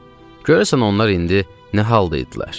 Görəsən onlar indi nə halda idilər?